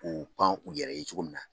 K'u pan u yɛrɛ ye cogo min na.